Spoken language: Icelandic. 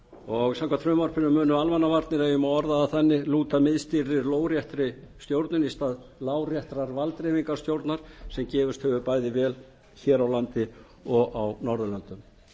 og samkvæmt frumvarpinu munu almannavarnir ef ég má orða það þannig lúta miðstýrðri lóðréttri stjórnun í stað láréttrar valddreifingarstjórnunar sem gefist hefur vel bæði hér á landi og á norðurlöndum